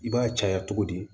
I b'a caya cogo di